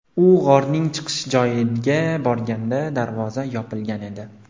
U g‘orning chiqish joyiga borganda darvoza yopilgan edi.